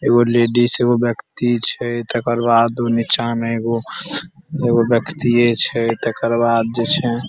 एगो लेडीज एगो व्यक्ति छै तकर बाद उ नीचा मे एगो व्यक्तिये छै तकर बाद जे छै --